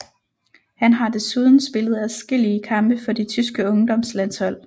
Han har desuden spillet adskillige kampe for de tyske ungdomslandshold